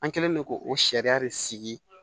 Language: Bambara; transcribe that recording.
An kɛlen don k'o sariya de sigi